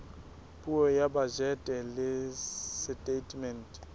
puo ya bajete le setatemente